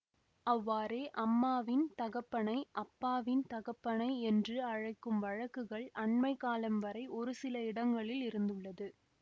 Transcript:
அவ்வாறே அம்மாவின் தகப்பனை அப்பாவின் தகப்பனை என்று அழைக்கும் வழக்குகள் அன்மை காலம் வரை ஒருசில இடங்களில் இருந்துள்ளது